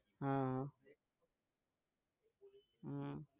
હા હમ